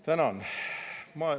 Tänan!